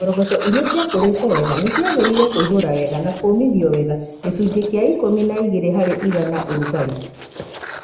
Ngoroco iria ciakũrĩte wega nĩ ciagĩrĩire kũihura wega na kũmithio wega (gicunje kia ikumi na igere harĩ iganaya ũrugarĩ).